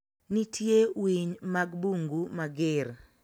Nitie winy mag bungu mager